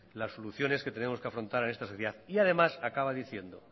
las soluciones que tenemos que afrontar en esta sociedad y además acaba diciendo